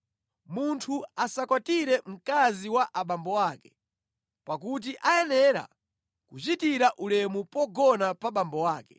Munthu asakwatire mkazi wa abambo ake pakuti ayenera kuchitira ulemu pogona pa abambo ake.